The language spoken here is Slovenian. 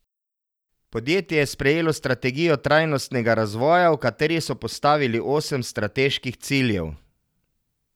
Podjetje je sprejelo strategijo trajnostnega razvoja, v kateri so postavili osem strateških ciljev.